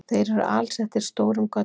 Þeir eru alsettir stórum göddum.